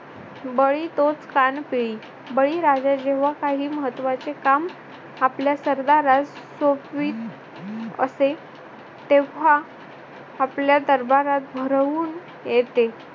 बली तोच कान पिळी. बळीराजा जेव्हा काही महत्वाचे काम आपल्या सरदारास सोपवीत असे तेव्हा आपल्या दरबारात भरवून येते.